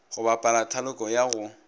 go bapala thaloko ya go